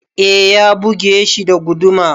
Ee ya buge shi da guduma.